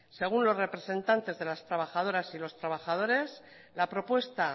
según los representantes de las trabajadores y trabajadores la propuesta